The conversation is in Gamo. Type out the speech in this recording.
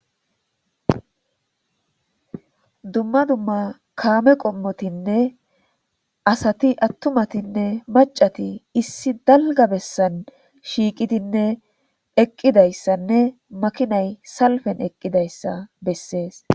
Dumma dumma kaame qommotinne asati attumatinne macati issi dalga bessan shiiqidinne eqqidayssanne makinay salfen eqqidayssa bessees.